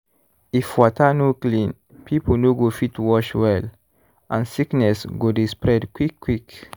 if water no clean people no go fit wash well and sickness go dey spread quick-quick.